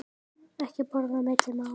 Ekki borða á milli mála.